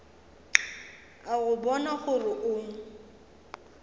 a go bona gore o